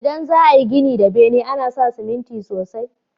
Idan za a yi gini da bene, ana sa ciminti sosai.